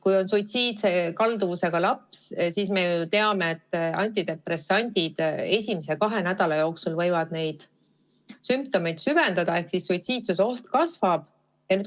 Kui on suitsiidikalduvusega laps, siis me ju teame, et antidepressandid võivad esimese kahe nädala jooksul sümptomeid süvendada ehk suitsiidioht kasvab.